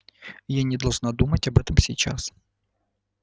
я не должна думать об этом сейчас